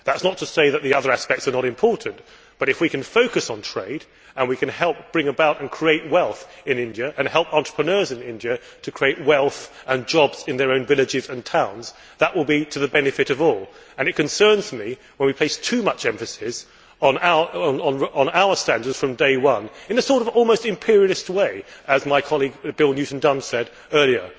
That is not to say that the other aspects are unimportant, but if we can focus on trade so as to help bring about and create wealth in India, and help entrepreneurs in India to create wealth and jobs in their own villages and towns, that will be to the benefit of all. It concerns me when we place too much emphasis on our standards from day one in an almost imperialist way, as my colleague, Bill Newton Dunn, said earlier.